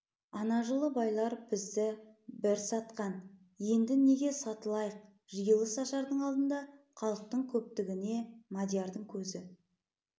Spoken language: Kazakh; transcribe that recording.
ана жылы байлар бізді бір сатқан енді неге сатылайық жиылыс ашардың алдында халықтың көптігіне мадиярдың көзі